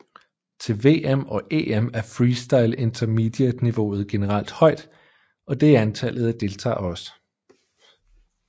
Til VM og EM er freestyle Intermediate niveauet generelt højt og det er antallet af deltager også